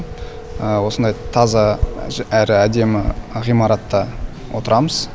осындай таза әрі әдемі ғимаратта отырамыз